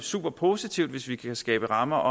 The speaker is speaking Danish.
superpositivt hvis vi kan skabe rammer